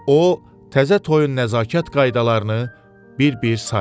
O, təzə toyun nəzakət qaydalarını bir-bir saydı.